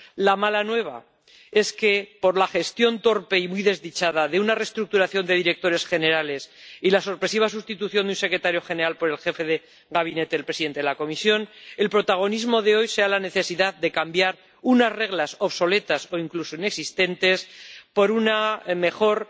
La mala nueva es que, por la gestión torpe y muy desdichada de una restructuración de directores generales y la sorpresiva sustitución de un secretario general por el jefe de gabinete del presidente de la Comisión, el protagonismo de hoy se lo lleve la necesidad de cambiar unas reglas obsoletas o incluso inexistentes por un mejor